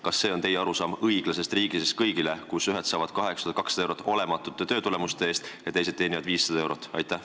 Kas see on teie arusaam "Õiglasest riigist kõigile", kui ühed saavad 8200 eurot olematute töötulemuste eest ja teised teenivad 500 eurot?